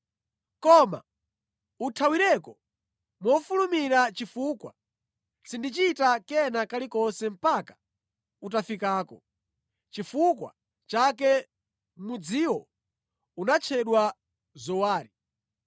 Koma uthawireko mofulumira chifukwa sindichita kena kalikonse mpaka utafikako.” (Nʼchifukwa chake mudziwo unatchedwa Zowari).